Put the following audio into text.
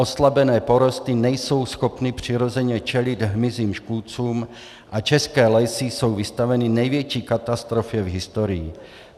Oslabené porosty nejsou schopny přirozeně čelit hmyzím škůdcům a české lesy jsou vystaveny největší katastrofě v historii.